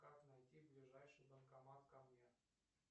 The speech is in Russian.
как найти ближайший банкомат ко мне